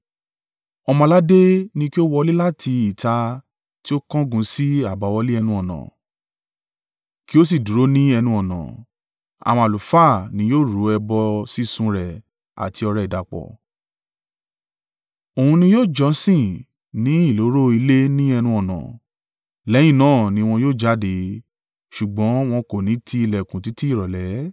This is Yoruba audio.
Ọmọ-aládé ni kí ó wọlé láti ìta tí ó kángun sí àbáwọlé ẹnu-ọ̀nà, kí ó sì dúró ní ẹnu-ọ̀nà. Àwọn àlùfáà ni yóò rú ọrẹ ẹbọ sísun rẹ̀ àti ọrẹ ìdàpọ̀. Òun ni yóò jọ́sìn ní ìloro ilé ní ẹnu-ọ̀nà, lẹ́yìn náà ni wọn yóò jáde, ṣùgbọ́n wọn kò ni ti ìlẹ̀kùn títí ìrọ̀lẹ́.